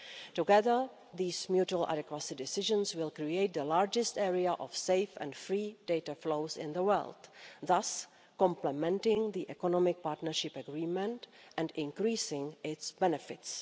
Together, these mutual adequacy decisions will create the largest area of safe and free data flows in the world, thus complementing the Economic Partnership Agreement and increasing its benefits.